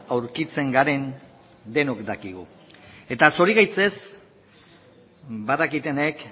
aurkitzen garen denok dakigu eta zorigaitzez badakitenek